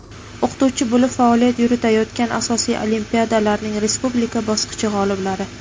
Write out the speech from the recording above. o‘qituvchi bo‘lib faoliyat yuritayotgan asosiy olimpiadalarning respublika bosqichi g‘oliblari;.